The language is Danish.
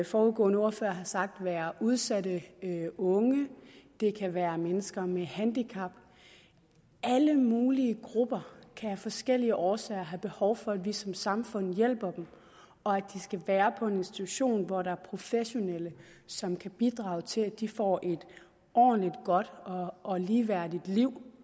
foregående ordførere har sagt være udsatte unge det kan være mennesker med handicap alle mulige grupper kan af forskellige årsager have behov for at vi som samfund hjælper dem og at de skal være på en institution hvor der er professionelle som kan bidrage til at de får et ordentligt godt og ligeværdigt liv